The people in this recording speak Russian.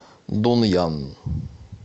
дунъян